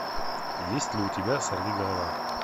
есть ли у тебя сорвиголова